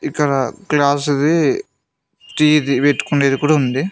ఇక్కడ క్లాసుది టీది పెట్టుకుండేది కూడా ఉంది.